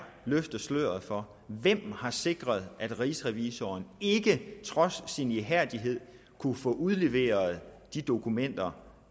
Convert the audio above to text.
løfte sløret for hvem der har sikret at rigsrevisor ikke trods sin ihærdighed kunne få udleveret de dokumenter